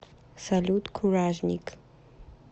салют куражник